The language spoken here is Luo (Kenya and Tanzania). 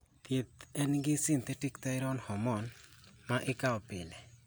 thieth en gi synthetic thyroid hormone, ma ikao pile